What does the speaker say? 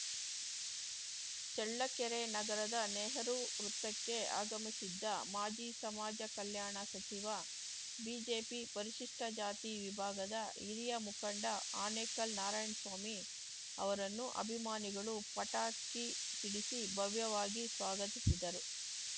ಚಳ್ಳಕೆರೆ ನಗರದ ನೆಹರೂ ವೃತ್ತಕ್ಕೆ ಆಗಮಿಸಿದ್ದ ಮಾಜಿ ಸಮಾಜ ಕಲ್ಯಾಣ ಸಚಿವ ಬಿಜೆಪಿ ಪರಿಶಿಷ್ಟಜಾತಿ ವಿಭಾಗದ ಹಿರಿಯ ಮುಖಂಡ ಆನೇಕಲ್‌ ನಾರಾಯಣ್ ಸ್ವಾಮಿ ಅವರನ್ನು ಅಭಿಮಾನಿಗಳು ಪಟಾಕಿ ಸಿಡಿಸಿ ಭವ್ಯವಾಗಿ ಸ್ವಾಗತಿಸಿದರು